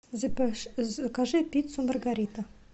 закажи пиццу маргарита